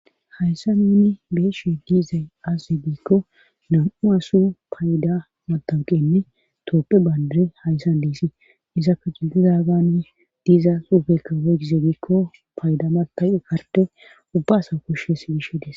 Hayssa nuuni beeshe diizay azaze giikko nam'u asu payda matanqenne tooppe bayndire hayssan diisii izapka jigdudaagane diza suufekka woygize giikko payda mata garte ubba asa koshshes gishe des.